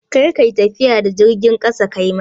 Kar ka yi tafiya da jirgin ƙasa kuma!